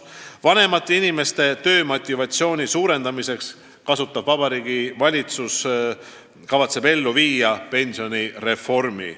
" Vanemate inimeste töömotivatsiooni suurendamiseks kavatseb Vabariigi Valitsus ellu viia pensionireformi.